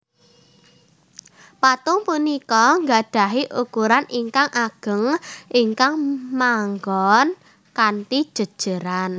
Patung punika nggadhahi ukuran ingkang ageng ingkang manggon kanthi jéjéran